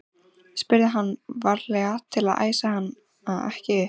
spurði hann, varlega til að æsa hana ekki upp.